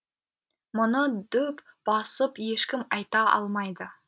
мұны дөп басып ешкім айта алмайды